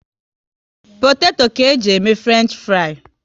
Potato ka eji e mee Frenchifrii